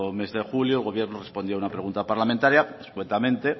mes de julio el gobierno respondió a una pregunta parlamentaria escuetamente